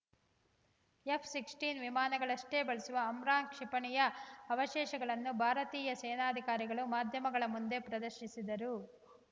F ಹದಿನಾರು ವಿಮಾನಗಳಿಗಷ್ಟೇ ಬಳಸುವ ಅಮ್ರಾಮ್‌ ಕ್ಷಿಪಣಿಯ ಅವಶೇಷಗಳನ್ನು ಭಾರತೀಯ ಸೇನಾಧಿಕಾರಿಗಳು ಮಾಧ್ಯಮಗಳ ಮುಂದೆ ಪ್ರದರ್ಶಿಸಿದ್ದರು